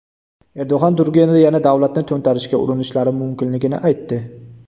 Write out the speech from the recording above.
Erdo‘g‘on Turkiyada yana davlatni to‘ntarishga urinishlari mumkinligini aytdi.